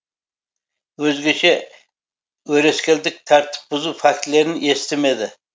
өзгеше өрескелдік тәртіп бұзу фактілерін естімеді